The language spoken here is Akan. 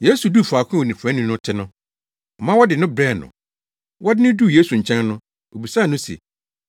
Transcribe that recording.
Yesu duu faako a onifuraefo no te no, ɔma wɔde no brɛɛ no. Wɔde no duu Yesu nkyɛn no, obisaa no se,